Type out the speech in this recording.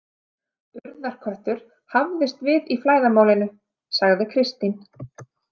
Urðarköttur hafðist við í flæðarmálinu, sagði Kristín.